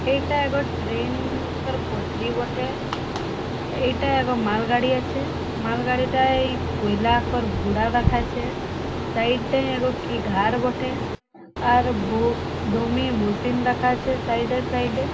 এইটা গ ট্রেন -ন-ন কার পটরি বটে এইটা গ মালগাড়ি আছে মালগাড়িটায় কয়লা আকর গুঁড়া দেখাচ্ছে সাইড টায় আগ কি ঘর বঠে আর ব দমে মশিন দেখাচ্ছে সাইড -এ সাইড -এ ।